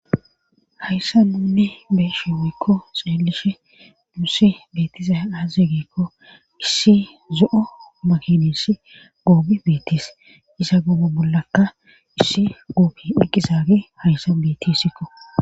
hayssa nunne beeshe woykko xeelishe dusse beettiza as zeegeekko issi zo7o makinesi goobi beettis isa goobo bollaka issi goobi eqqizaage hayssa beetisikko